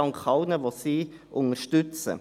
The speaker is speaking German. Wir danken allen, die sie unterstützen.